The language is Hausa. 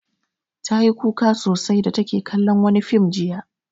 Ta yi kuka sosai da take kallon wani fim jiya.